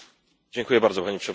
Pani Przewodnicząca!